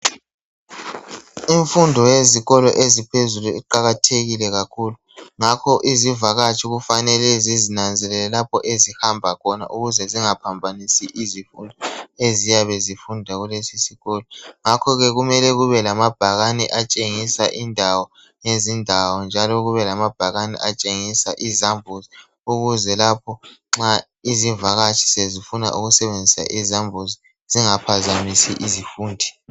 Imfundo yezikolo eziphezulu iqakathekile kakhulu ngakho izivakatshi kufanele zizinanzelele lapho ezihamba khona ukuze zingaphambanisi izifundi eziyabe zifunda kulesi sikolo ngakho ke kumele kubelamabhakane atshengisa indawo lezindawo njalo kube lamabhakane atshengisa izambuzi ukuze lapho nxa izivakatshi sezifuna ukusebenzisa izambuzi zingaphambanisi abafundi.